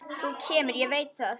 Þú kemur, ég veit það.